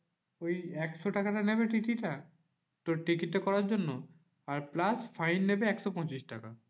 তো ওই একশো টাকাটা নেবে TTE টা তোর টিকিটটা করার জন্য। আর plus fine নেবে একশো পঁচিশ টাকা।